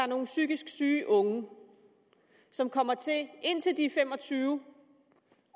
nogle psykisk syge unge som kommer til indtil de er fem og tyve